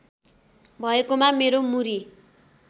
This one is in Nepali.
भएकोमा मेरो मुरी